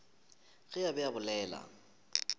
ge a be a bolela